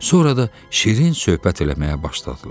Sonra da şirin söhbət eləməyə başladılar.